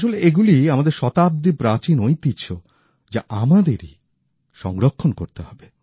আসলে এগুলি আমাদের শতাব্দী প্রাচীন ঐতিহ্য যা আমাদেরই সংরক্ষণ করতে হবে